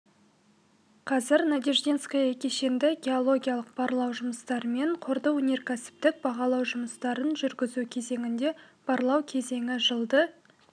қазір надеждинское кешенді геологиялық барлау жұмыстары мен қорды өнеркәсіптік бағалау жұмыстарын жүргізу кезеңінде барлау кезеңі жылды